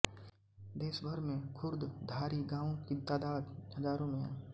देश भर में खुर्द धारी गांवों की तादाद हजारों में है